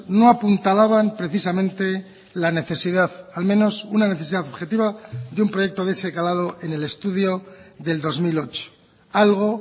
no apuntalaban precisamente la necesidad al menos una necesidad objetiva de un proyecto de ese calado en el estudio del dos mil ocho algo